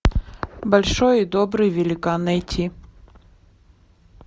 большой и добрый великан найти